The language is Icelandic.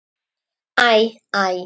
Æ, æ.